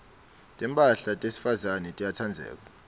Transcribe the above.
timphahla tesifazane tiyatsengeka